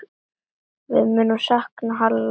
Við munum sakna Halla.